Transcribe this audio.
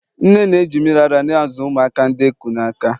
nne na-eji mmiri ara na-azụ ụmụaka ndi eku n'aka